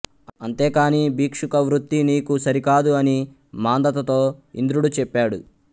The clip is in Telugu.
అంతే కాని భిక్షుకవృత్తి నీకు సరికాదు అని మాంధాతతో ఇంద్రుడు చెప్పాడు